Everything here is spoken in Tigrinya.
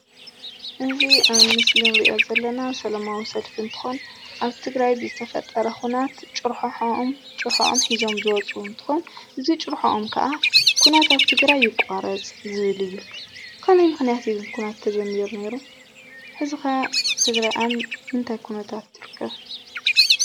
እዚ አብ ምስሊ እንሪኦ ዘለና ሰላማዊ ሰለፊ እንትኾን አብ ትግራይ ብዝተፈጠረ ዅናት ጭርሖኦም ጭርሖኦም ሒዞም ዝወፁ እንትኮን እዚ ጭርሖኦም ከዓ ኩናት አብ ትግራይ ይቋረፅ ዝብል እዩ ።ብኸመይ ምክንያት እዩ ግን ኩናት ተጀሚሩ ነይሩ። ሕዚ ኸ ትግራይ አብ ምንታይ ኩነታት ትርከብ ?